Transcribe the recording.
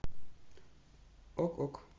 ок ок